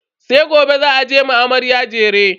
sai gobe za a je a ma amarya jere